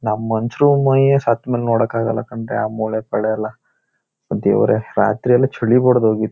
ನಾವ್ ಮನುಷ್ಯರು ಮೈಯ್ ಸತ್ಮೇಲೆ ನೋಡೋಕ್ಕೆ ಆಗಲ್ಲ ಕಣ್ರೀ ಆ ಮೊಳೆ ಪೊಳೆ ಎಲ್ಲ ಸ ದೇವರೆ ರಾತ್ರಿಯೆಲ್ಲ ಚಳಿ ಬರೊದೊಗಿ--